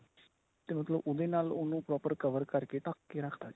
ਤੇ ਮਤਲਬ ਉਹਦੇ ਨਾਲ ਉਹਨੂੰ proper cover ਕਰਕੇ ਢੱਕ ਕੇ ਰੱਖ ਤਾ ਜੀ.